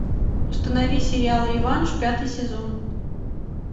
установи сериал реванш пятый сезон